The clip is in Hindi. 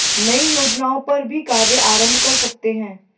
नई योजनाओं पर भी कार्य आरंभ कर सकते हैं